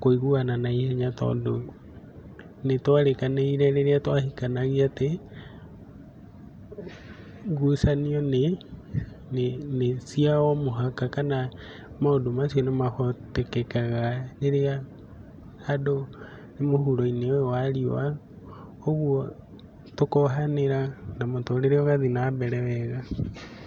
kũiguana na ihenya, tondũ nĩtwarĩkanĩire rĩrĩa twahikanagia atĩ ngucanio nĩcia o mũhaka kana maũndũ macio nĩmahotekekaga rĩrĩa andũ me mũhuro-inĩ ũyũ wa riũa, ũguo tũkohanĩra na mũtũrĩre ũgathiĩ na mbere wega.